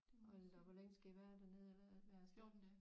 Hold da op hvor længe skal I være dernede eller være af sted